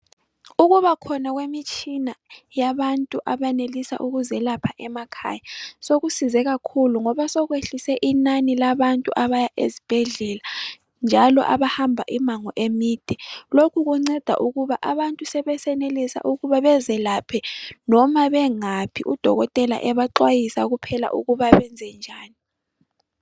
Ukubakhona kwemitshina yabantu abayenelisa ukuzelapha emakhaya .Sokusize kakhulu ngoba sokwehlise inani labantu abaya ezibhedlela njalo abahamba imango emide .Lokhu kunceda ukuba abantu sebesenelisa ukuba bazelaphe noma bengaphi udokotela ebaxwayisa kuphela ukuba benze njani .